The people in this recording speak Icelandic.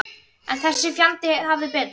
En þessi fjandi hafði betur.